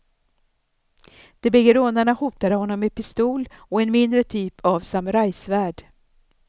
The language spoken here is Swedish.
De bägge rånarna hotade honom med pistol och en mindre typ av samurajsvärd.